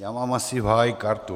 Já mám asi v háji kartu.